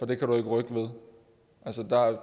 det kan du ikke rykke ved